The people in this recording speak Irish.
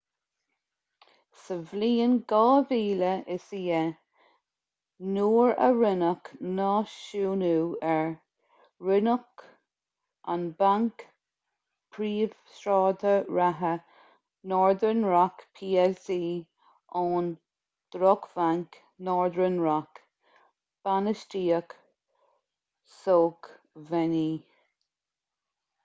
sa bhliain 2010 nuair a rinneadh náisiúnú air roinneadh an banc príomhshráide reatha northern rock plc ón ‘drochbhanc’ northern rock bainistíocht sócmhainní